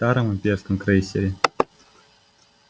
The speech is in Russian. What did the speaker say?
в старом имперском крейсере